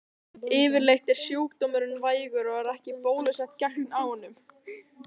Yfirleitt er sjúkdómurinn vægur og ekki er bólusett gegn honum.